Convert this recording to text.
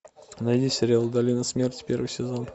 найди сериал долина смерти первый сезон